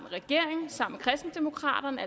regeringen sammen med kristendemokraterne